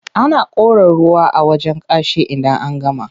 Ana kora ruwa a wajen kashi idan an gama.